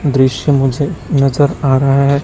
दृश्य मुझे नजर आ रहा है।